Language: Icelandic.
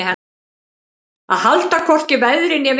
Að halda hvorki veðri né vindi